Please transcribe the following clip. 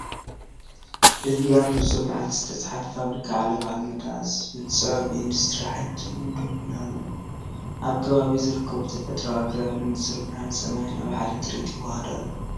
እዚ ኣብ ንጹር መዓልቲ ዝተጻሕፈ"ፋብሪካ ዓለባ ኣልመዳ" ዝብል ጽሑፍ ብኢንዱስትሪ-ሓይሊ ትርጉም ደው ኢሉ ኣሎ፤ ኣብ ከባቢኡ ዝርከቡ ተፈጥሮኣዊ ኣግራብን ንጹር ብርሃን ሰማይን ኣብ ሓደ ትርኢት ይወሃሃድ ኣለው።